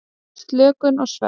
Slökun og svefn.